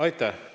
Aitäh!